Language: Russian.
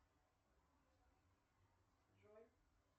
джой